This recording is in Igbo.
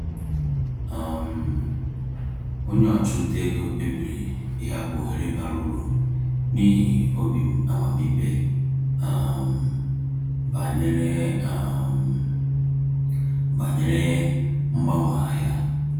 um Onye ọchụnta ego kpebiri ịhapụ ohere bara uru n’ihi obi amamikpe um banyere um banyere mgbanwe ahịa. um